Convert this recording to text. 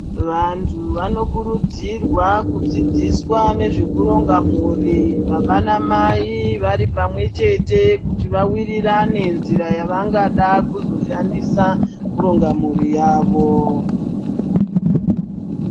Vantu vanokurudzirwa kudzidziswa nezvekuronga mhuri baba namai varipamwechete kuti vawirirane nzira yavangada kuzoshandisa kurongwa mhuri yavo.